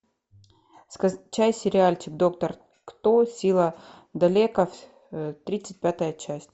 скачай сериальчик доктор кто сила далеков тридцать пятая часть